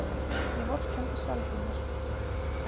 Ég vorkenndi sjálfri mér.